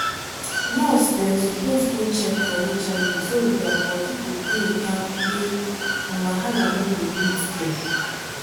nurse dem suppose go check for hiv so their body go dey kampe and wahala no go meet dem.